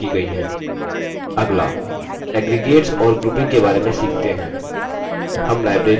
अगला aggregates और grouping के बारे में सीखते हैं